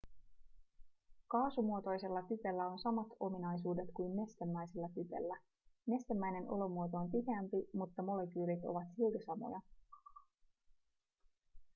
kaasumuotoisella typellä on samat ominaisuudet kuin nestemäisellä typellä nestemäinen olomuoto on tiheämpi mutta molekyylit ovat silti samoja